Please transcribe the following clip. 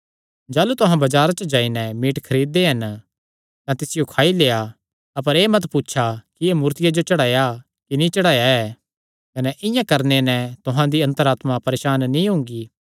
जाह़लू तुहां बजारां च जाई नैं मीट खरीद दे हन तां तिसियो खाई लेआ अपर एह़ मत पुछा कि एह़ मूर्तियां जो चढ़ाया कि नीं चढ़ाया ऐ कने इआं करणे नैं तुहां दी अन्तर आत्मा परेसान नीं हुंगी